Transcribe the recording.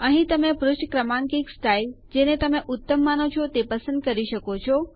અહીં તમે પુષ્ઠ ક્રમાંકિત સ્ટાઈલ જેને તમે ઉત્તમ માનો તે પસંદ કરી શકો છો